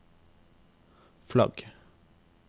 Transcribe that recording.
flagg